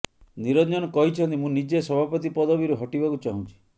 ନିରଞ୍ଜନ କହିଛନ୍ତି ମୁଁ ନିଜେ ସଭାପତି ପଦବୀରୁ ହଟିବାକୁ ଚାହୁଁଛି